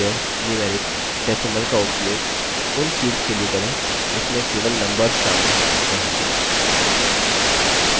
integer numeric decimal का उपयोग उन fields के लिए करें जिसमें केवल numbers शामिल हो सकते हैं